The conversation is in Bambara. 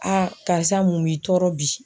karisa mun b'i tɔɔrɔ bi.